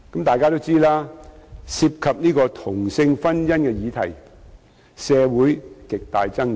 眾所周知，涉及同性婚姻的議題，在社會上有極大爭議。